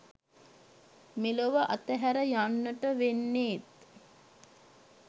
මෙලොව අතහැර යන්නට වෙන්නේත්